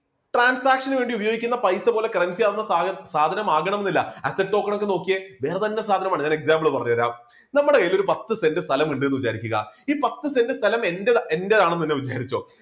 transaction വേണ്ടി ഉപയോഗിക്കുന്ന പൈസ പോലെ currency ആകുന്ന സാധനം ആകണമെന്നില്ല, asset token ഒക്കെ നോക്കിയെ വേറെ തന്നെ സാധനമാണ് ഞാൻ example പറഞ്ഞുതരാം. നമ്മുടെ കയ്യിൽ ഒരു പത്ത് cent സ്ഥലം ഉണ്ടെന്ന് വിചാരിക്കുക. ഈ പത്ത് cent സ്ഥലം എന്റെ എന്റേതാണെന്ന് തന്നെ വിചാരിച്ചോ.